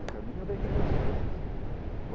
E o caminho vem de consequência.